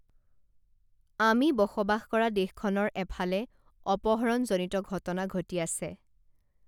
আমি বসবাস কৰা দেশখনৰ এফালে অপহৰণজনিত ঘটনা ঘটি আছে